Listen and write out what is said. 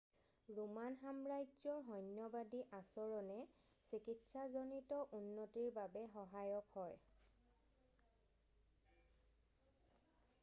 Roman সাম্ৰাজ্যৰ সৈন্যবাদী আচৰণে চিকিৎসাজনিত উন্নতিৰ বাবে সহায়ক হয়